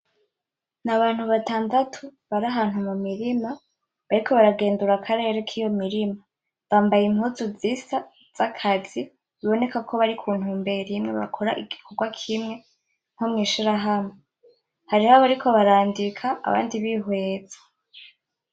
Ni abantu batandatu bari ahantu mu mirima bariko baragendura akarere kiyo mirima, bambaye impuzu zisa z'akazi biboneka ko bari ku ntumbero imwe bakora igikorwa kimwe nko mw'ishirahamwe, hariho abariko barandika abandi bihweza.